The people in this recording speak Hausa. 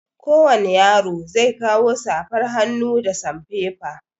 Kowani yaro zai kawo safar hannu da sanfefa.